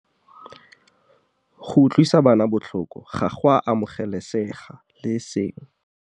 Go utlwisa bana botlhoko ga go a amogelesega le e seng.